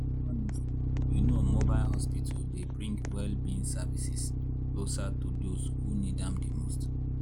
honestly you know mobile hospital dy bring well-being services closer to those who need am dimost.